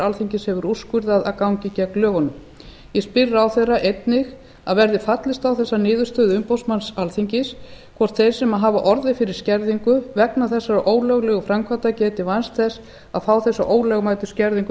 alþingis hefur úrskurðað að gangi gegn lögunum ég spyr ráðherra einnig að verði fallist á þessa niðurstöðu umboðsmanns alþingis hvort þeir sem hafa orðið fyrir skerðingu vegna þessara ólöglegu framkvæmda geti vænst þess að fá þessa ólögmætu skerðingu